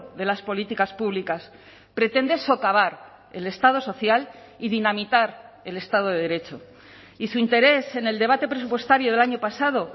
de las políticas públicas pretende socavar el estado social y dinamitar el estado de derecho y su interés en el debate presupuestario del año pasado